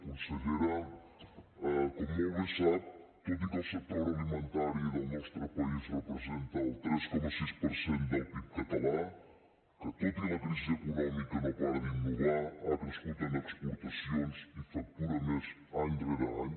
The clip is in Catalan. consellera com molt bé sap tot i que el sector agroalimentari del nostre país representa el tres coma sis per cent del pib català que tot i la crisi econòmica no para d’innovar ha crescut en exportacions i factura més any rere any